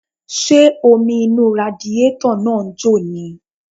Ṣé omi inú radiátọ̀ náà ń jò ni?